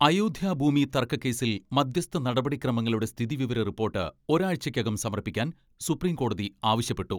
അയോധ്യ ഭൂമി തർക്കക്കേസിൽ മധ്യസ്ഥ നടപടി ക്രമങ്ങളുടെ സ്ഥിതി വിവര റിപ്പോട്ട് ഒരാഴ്ചക്കകം സമർപ്പിക്കാൻ സുപ്രിം കോടതി ആവശ്യപ്പെട്ടു.